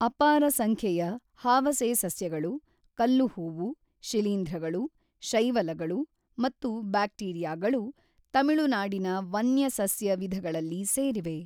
ಅಪಾರ ಸಂಖ್ಯೆಯ ಹಾವಸೆಸಸ್ಯಗಳು, ಕಲ್ಲುಹೂವು, ಶಿಲೀಂಧ್ರಗಳು, ಶೈವಲಗಳು ಮತ್ತು ಬ್ಯಾಕ್ಟೀರಿಯಾಗಳು ತಮಿಳುನಾಡಿನ ವನ್ಯ ಸಸ್ಯ ವಿಧಗಳಲ್ಲಿ ಸೇರಿವೆ.